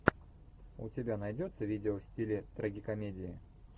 у тебя найдется видео в стиле трагикомедии